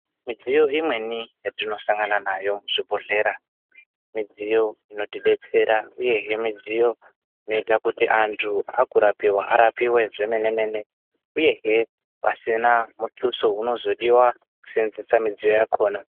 Midziyo imweni yatinosangana nayo muzvibhedhlera midziyo inotidetsera uye midziyo inoita kuti antu akurapiwa arapiwe zvemene-mene uyezve pasina mutuso unozodiwa kesevenzesa midziyo yakkona.